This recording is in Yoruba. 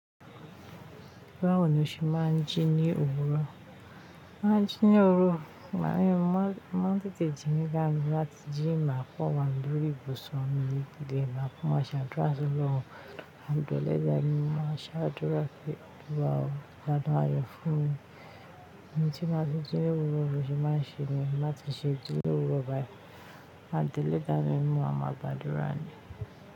Báwo ni o ṣe máa ń jí ní òwúrọ̀? Máa ń jí ní òwúrọ̀, màmá mi máa ń tètè jí ní ká lu láti jí máa fọ́n wa lórí ìbùsọ̀ mi ní ìdílé máa fún wa ṣàdúrà sí Ọlọ́run. Adùlẹ́ dá mi mú, máa ṣàdúrà pé, "Olúwa o, ìbálọ̀pọ̀ ayọ̀ fún mi. Ẹni tí máa ṣe jí ní òwúrọ̀ bí o ṣe máa ń ṣe mi, má sì ṣe jí ní òwúrọ̀ bá yẹn." Adùlẹ́ dá mi mú a máa gbàdúrà ni.